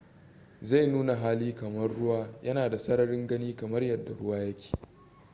zai nuna hali kamar ruwa yana da sararin gani kamar yadda ruwa yake